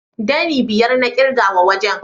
Ɗani biyar na ƙirga wa wajen.